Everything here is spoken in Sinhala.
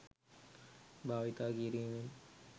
භාවිතා කිරීමෙන්